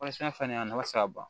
Polisikɛfɛn nin a nafa tɛ se ka ban